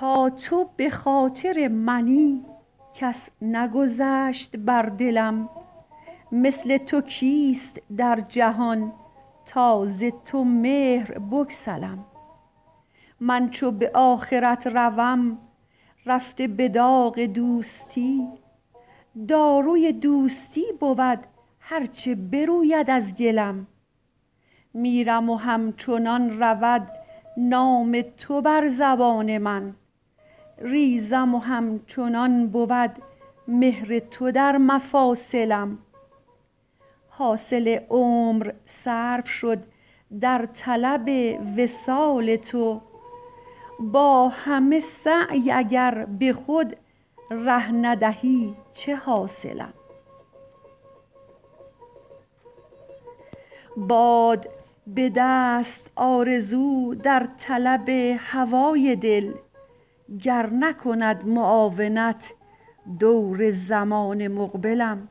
تا تو به خاطر منی کس نگذشت بر دلم مثل تو کیست در جهان تا ز تو مهر بگسلم من چو به آخرت روم رفته به داغ دوستی داروی دوستی بود هر چه بروید از گلم میرم و همچنان رود نام تو بر زبان من ریزم و همچنان بود مهر تو در مفاصلم حاصل عمر صرف شد در طلب وصال تو با همه سعی اگر به خود ره ندهی چه حاصلم باد بدست آرزو در طلب هوای دل گر نکند معاونت دور زمان مقبلم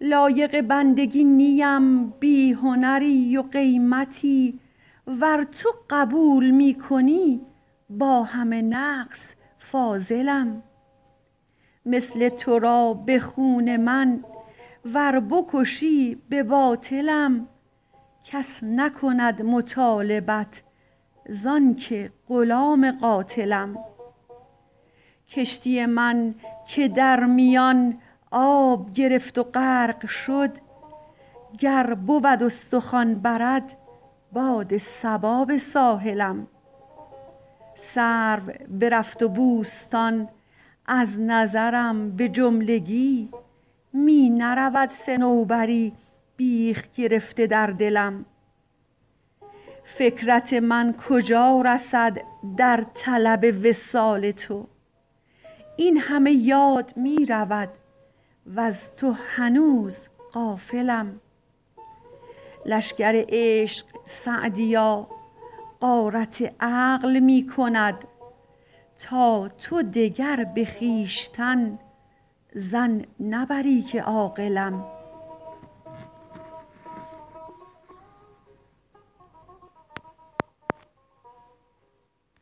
لایق بندگی نیم بی هنری و قیمتی ور تو قبول می کنی با همه نقص فاضلم مثل تو را به خون من ور بکشی به باطلم کس نکند مطالبت زان که غلام قاتلم کشتی من که در میان آب گرفت و غرق شد گر بود استخوان برد باد صبا به ساحلم سرو برفت و بوستان از نظرم به جملگی می نرود صنوبری بیخ گرفته در دلم فکرت من کجا رسد در طلب وصال تو این همه یاد می رود وز تو هنوز غافلم لشکر عشق سعدیا غارت عقل می کند تا تو دگر به خویشتن ظن نبری که عاقلم